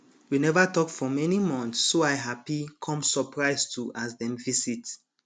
we neva talk for many month so i happy com surprise too as dem visit